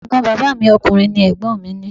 Ẹ̀gbọ́n bàbá mi ọkùnrin ni Ẹ̀gbọ́n mi ni.